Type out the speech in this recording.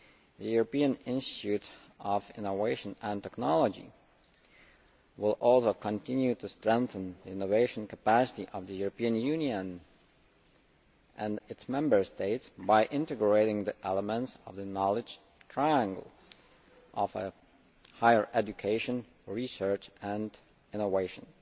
The European Institute of Innovation and Technology will also continue to strengthen the innovation capacity of the European Union and its Member States by integrating the elements of the knowledge triangle' of higher education, research and innovation.